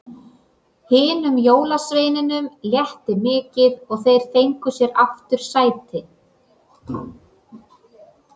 Hinum jólasveinunum létti mikið og þeir fengu sér aftur sæti.